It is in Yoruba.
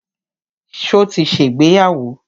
Ṣo ti ṣègbéyàwó?